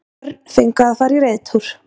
Börn fengu að fara í reiðtúr